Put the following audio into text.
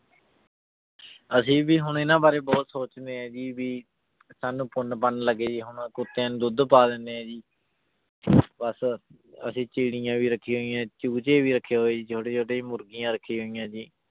ਅਸੀਂ ਵੀ ਹੁਣ ਇਹਨਾਂ ਬਾਰੇ ਬਹੁਤ ਸੋਚਦੇ ਹਾਂ ਜੀ ਵੀ ਸਾਨੂੰ ਪੁੰਨ ਪੰਨ ਲੱਗੇ ਜੀ, ਹੁਣ ਕੁੱਤਿਆਂ ਨੂੰ ਦੁੱਧ ਪਾ ਦਿੰਦੇ ਹਾਂ ਜੀ ਬਸ ਅਸੀਂ ਚਿੱੜੀਆਂ ਵੀ ਰੱਖੀਆਂ ਹੋਈਆਂ, ਚੂਚੇ ਵੀ ਰੱਖੇ ਹੋਏ ਜੀ ਛੋਟੇ ਛੋਟੇ ਮੁਰਗੀਆਂ ਰੱਖੀਆਂਂ ਹੋਈਆਂ ਜੀ।